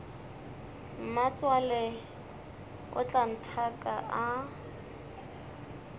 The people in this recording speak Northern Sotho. mmatswale o tla nthaka a